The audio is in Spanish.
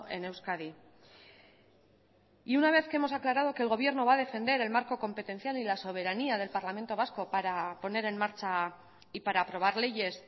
en euskadi y una vez que hemos aclarado que el gobierno va a defender el marco competencial y la soberanía del parlamento vasco para poner en marcha y para aprobar leyes